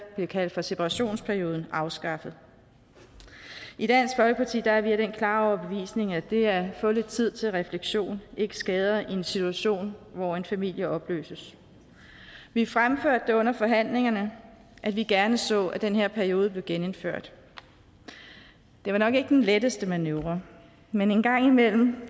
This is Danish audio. blev kaldt for separationsperioden afskaffet i dansk folkeparti er vi af den klare overbevisning at det at få lidt tid til refleksion ikke skader i en situation hvor en familie opløses vi fremførte under forhandlingerne at vi gerne så at den her periode blev genindført det var nok ikke den letteste manøvre men en gang imellem